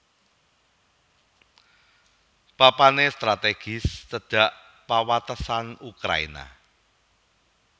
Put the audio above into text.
Papané stratégis cedhak pawatesan Ukraina